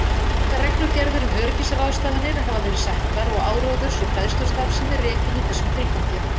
Margar reglugerðir um öryggisráðstafanir hafa verið settar og áróðurs- og fræðslustarfsemi rekin í þessum tilgangi.